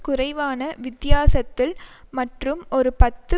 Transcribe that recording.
குறைவான வித்தியாசத்தில் மற்றும் ஒரு பத்து